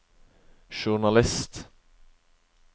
journalist